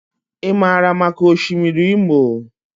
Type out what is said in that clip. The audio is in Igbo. I maara maka Osimiri Imo.